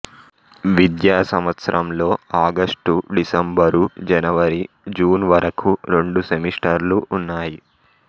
విద్యాసంవత్సరంలో August December జనవరి June వరకూ రెండు సెమిస్టర్లు ఉన్నాయి